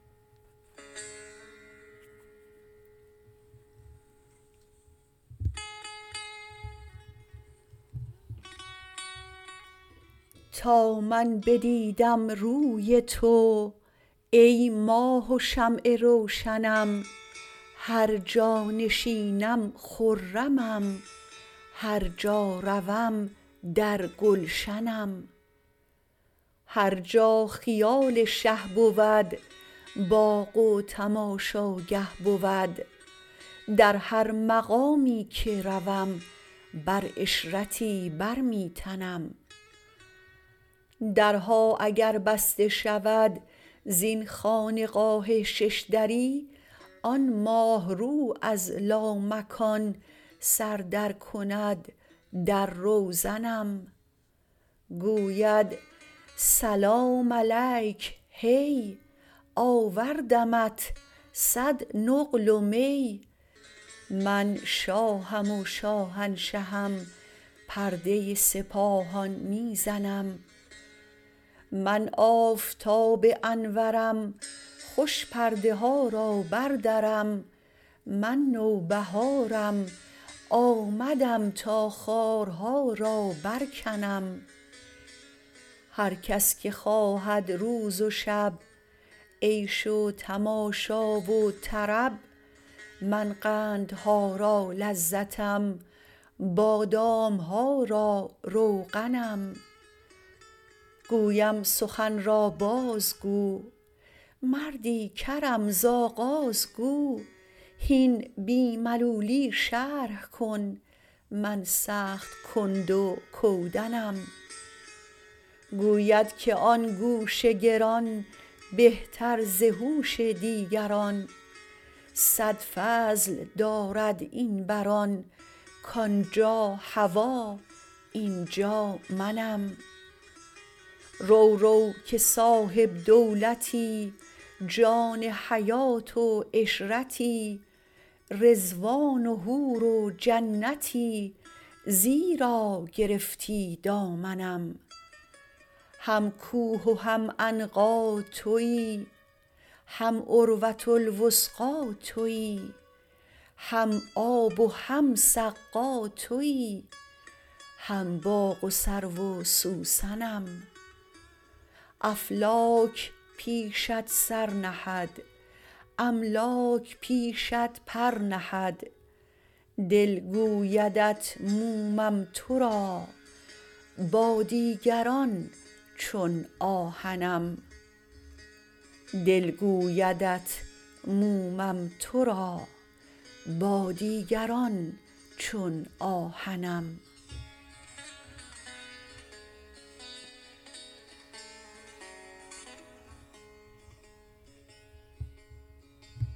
تا من بدیدم روی تو ای ماه و شمع روشنم هر جا نشینم خرمم هر جا روم در گلشنم هر جا خیال شه بود باغ و تماشاگه بود در هر مقامی که روم بر عشرتی بر می تنم درها اگر بسته شود زین خانقاه شش دری آن ماه رو از لامکان سر درکند در روزنم گوید سلام علیک هی آوردمت صد نقل و می من شاهم و شاهنشهم پرده سپاهان می زنم من آفتاب انورم خوش پرده ها را بردرم من نوبهارم آمدم تا خارها را برکنم هر کس که خواهد روز و شب عیش و تماشا و طرب من قندها را لذتم بادام ها را روغنم گویم سخن را بازگو مردی کرم ز آغاز گو هین بی ملولی شرح کن من سخت کند و کودنم گوید که آن گوش گران بهتر ز هوش دیگران صد فضل دارد این بر آن کان جا هوا این جا منم رو رو که صاحب دولتی جان حیات و عشرتی رضوان و حور و جنتی زیرا گرفتی دامنم هم کوه و هم عنقا توی هم عروه الوثقی توی هم آب و هم سقا توی هم باغ و سرو و سوسنم افلاک پیشت سر نهد املاک پیشت پر نهد دل گویدت مومم تو را با دیگران چون آهنم